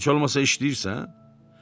Heç olmasa işləyirsən?